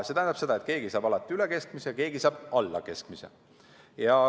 See tähendab seda, et keegi saab alati üle keskmise ja keegi saab alla keskmise.